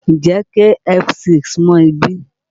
Ǹjẹ́ KFC súmọ́ ibí?